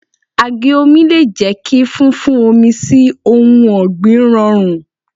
Àgé omi le jẹ́ kí fún fún omi sí ohun ọ̀gbìn rọrùn.